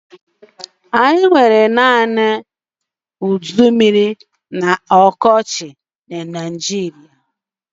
Anyị nwere naanị udummiri na ọkọchị na Naijiria.